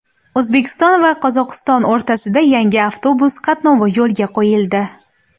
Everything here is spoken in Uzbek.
O‘zbekiston va Qozog‘iston o‘rtasida yangi avtobus qatnovi yo‘lga qo‘yildi.